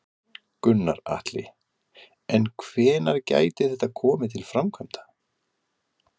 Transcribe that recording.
Gunnar Atli: En hvenær gæti þetta komið til framkvæmda?